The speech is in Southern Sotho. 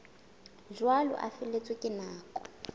jwalo a feletswe ke nako